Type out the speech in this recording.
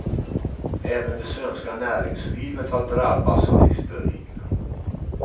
Även det svenska näringslivet har drabbats av hysterin.